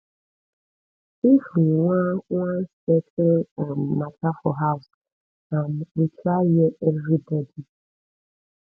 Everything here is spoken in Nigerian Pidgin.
if we wan wan settle um mata for house um we try hear everybodi